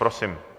Prosím.